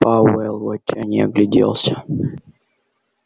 пауэлл в отчаянии огляделся